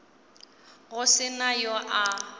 go se na yo a